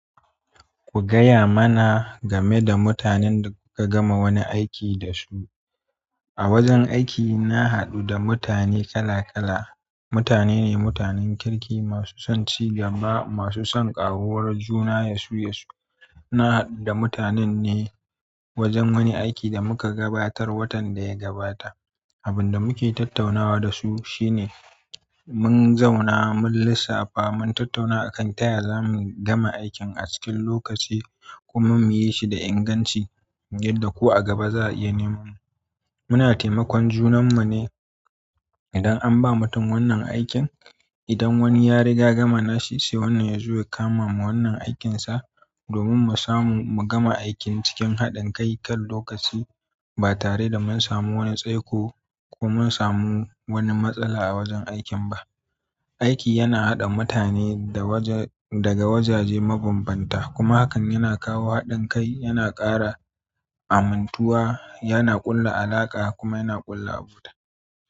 Ku gaya mana game da mutanen da kuka gama wani aiki dasu. A wajen aiki na haɗu da mutane kala kala, mutane ne mutanen kirki, masu son ci gaba, masu son ƙaruwar juna yasu-yasu. Na haɗu da mutanen ne wajen wani aiki da muka gabatar watan da ya gabata. Abin da muke tattaunawa da su shine mun zauna mun lissafa, mun tattauna akan taya zamu gama aikin a cikin lokaci kuma muyi shi da inganci yadda ko a gaba za a iya neman mu. Muna taimakon junan mu ne idan an ba mutum wannan aikin. Idan wani ya riga gama nashi sai wannan ya zo ya kamawa wannan aikinsa. Domin mu samu mu gama aikin cikin haɗin kai kan lokaci ba tare da mun samu wani tsaiko ko mun samu wani matsala a wajen aikin ba. Aiki yana haɗa mutane daga wajaje mabambanta, kuma hakan yana kawo haɗin kai, yana ƙara amuntuwa, yana ƙulla alaƙa kuma yana ƙulla abota.